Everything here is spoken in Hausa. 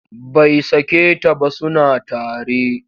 Bai sake ta ba suna tare.